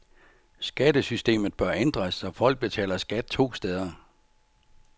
Skattesystemet bør ændres, så folk betaler skat to steder.